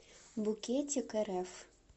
букетикрф